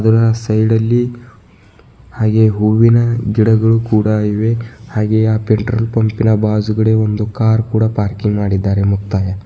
ಆ ಸೈಡ್ ಲ್ಲಿ ಹಾಗೆ ಹೂವಿನ ಗಿಡಗಳು ಕೂಡ ಇವೆ ಹಾಗೆಯೇ ಆ ಪೆಟ್ರೋಲ್ ಪಂಪ್ ಇನ ಬಾಜು ಕಡೆ ಒಂದು ಕಾರ್ ಕೂಡ ಪಾರ್ಕಿಂಗ್ ಮಾಡಿದ್ದಾರೆ ಮುಕ್ತಾಯ.